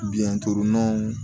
Biyɛn torunw